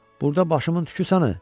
Burda başımın tüküsən, ə?